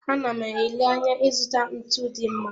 A na m ele anya ịzụta ntu dị mma.